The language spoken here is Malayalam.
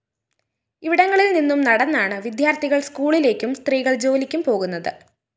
ഇവിടെങ്ങളില്‍ നിന്നും നടന്നാണ് വിദ്യാര്‍ത്ഥികള്‍ സ്‌കൂളിലേക്കും സ്ത്രീകള്‍ ജോലിക്കും പോകുന്നത്